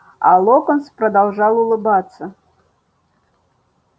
а локонс продолжал улыбаться